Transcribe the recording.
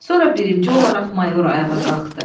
Sonra birinci olaraq mayor ayağa qalxdı.